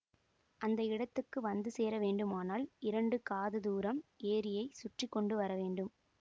அந்த இடத்துக்கு வந்து சேர வேண்டுமானால் இரண்டு காததூரம் ஏரியைச் சுற்றி கொண்டு வரவேண்டும்